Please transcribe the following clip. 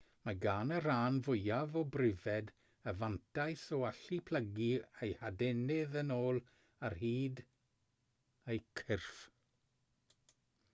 mae gan y rhan fwyaf o bryfed y fantais o allu plygu eu hadenydd yn ôl ar hyd eu cyrff